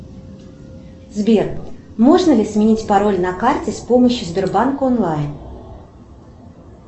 сбер можно ли сменить пароль на карте с помощью сбербанка онлайн